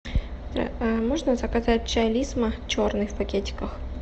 можно заказать чай лисма черный в пакетиках